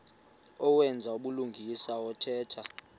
owenza ubulungisa othetha